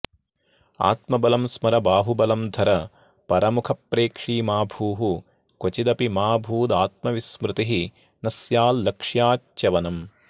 आत्मबलं स्मर बाहुबलं धर परमुखप्रेक्षी मा भूः क्वचिदपि मा भूदात्मविस्मृतिः न स्याल्लक्ष्याच्च्यवनम्